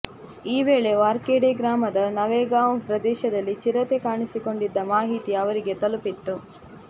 ಈ ವೇಳೆ ವಾರ್ಖೇಡೆ ಗ್ರಾಮದ ನವೇಗಾಂವ್ ಪ್ರದೇಶದಲ್ಲಿ ಚಿರತೆ ಕಾಣಿಸಿಕೊಂಡಿದ್ದ ಮಾಹಿತಿ ಅವರಿಗೆ ತಲುಪಿತ್ತು